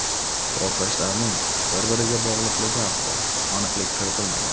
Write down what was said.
Portlashlarning bir-biriga bog‘liqligi haqida aniqlik kiritilmagan.